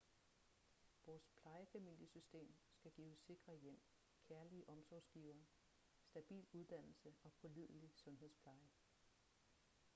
vores plejefamiliesystem skal give sikre hjem kærlige omsorgsgivere stabil uddannelse og pålidelig sundhedspleje